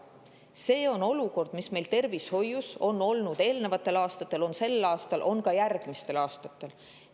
See on olukord, mis meil tervishoius on olnud eelnevatel aastatel, on sel aastal ja on ka järgmistel aastatel.